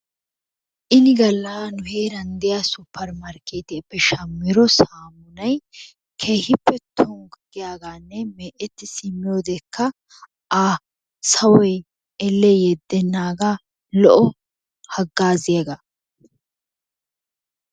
Ini gaalla heeran de'iyaa supermarkketiyaape shaammido saamuunay keehippe tonggu giyaaganne mecetti simmiyoodekka a sawoy elle yeedenaaga lo'o hagazziyaaga.